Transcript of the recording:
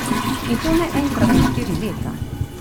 In to ne enkrat na štiri leta.